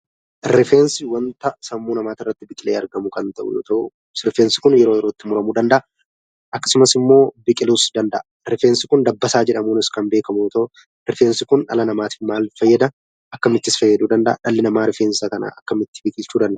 Rifeensi wanta sammuu namaatirratti biqilee argamu kan ta'u yoo ta'u rifeensi kun yeroo yerootti muramuu danda'a. Akkasumas immoo biqiluus danda'a. Rifeensi kun dabbasaa jedhamuunis kan beekamu yoo ta'u rifeensi kun dhala namaatif maal fayyada? Akkamittis fayyaduu danda'a? Dhalli namaa rifeensa kana akkamitti biqilchuu danda'a?